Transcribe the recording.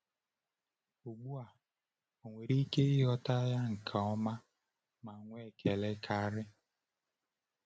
Ugbu a, o nwere ike ịghọta ya nke ọma ma nwee ekele karị.”